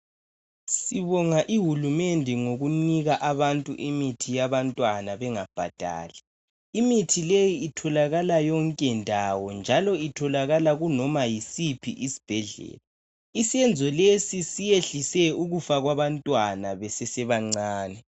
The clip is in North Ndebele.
Sibonga ihulumende ngokunika abantu imithi yabantwana bengabhadali. Imithi leyi itholakala yonke ndawo njalo itholakala kunoma yisiphi isibhedlela. Isenzo lesi siyehlise ukufa kwabantwana besesebancane.